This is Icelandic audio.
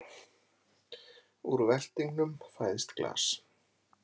Úr veltingnum fæðist glas.